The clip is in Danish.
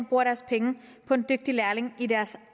bruger deres penge på en dygtig lærling i deres